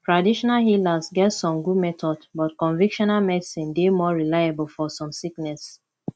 traditional healers get some good methods but convictional medicine dey more reliable for some sickness